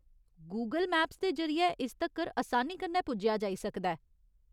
Google maps दे जरिए इस तक्कर असानी कन्नै पुज्जेआ जाई सकदा ऐ।